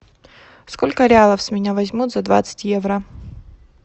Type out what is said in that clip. сколько реалов с меня возьмут за двадцать евро